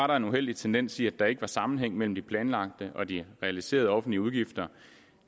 der en uheldig tendens til at der ikke var sammenhæng mellem de planlagte og de realiserede offentlige udgifter